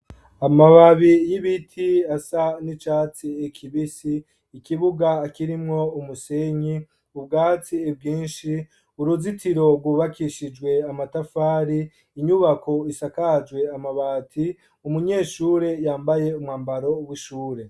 Amababi y'ibiti asa n'icatsi kibisi, ikibuga kirimwo umusenyi, ubwatsi bwinshi, uruzitiro rwubakishijwe amatafari, inyubako isakajwe amabati, umunyeshure yambaye umwambaro w'ishure.